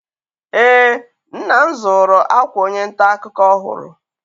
Eé, nna m zụrụ akwa onye nta akụkọ ọhụrụ.